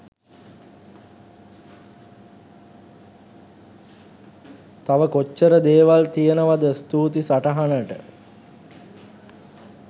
තව කොච්චර දේවල් තියෙනවද ස්තුතියි සටහනට .